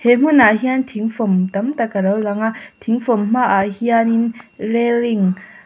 he hmunah hianin thing fawm tam tak a lo lang a thing fawm hma ah hian in railing --